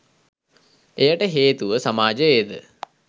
එයට හේතුව සමාජයේද